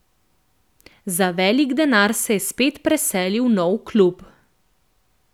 Za velik denar se je spet preselil v nov klub.